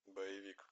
боевик